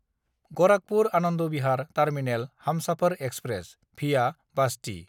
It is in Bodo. गराखपुर–आनन्द Bihar terminal Humsafar express (via बास्ति)